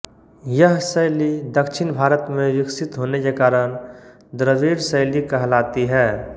यह शैली दक्षिण भारत में विकसित होने के कारण द्रविड़ शैली कहलाती है